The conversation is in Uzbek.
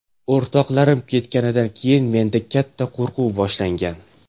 O‘rtoqlarim ketganidan keyin menda katta qo‘rquv boshlangan.